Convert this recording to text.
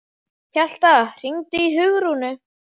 Hjalta, hringdu í Hugrúnu.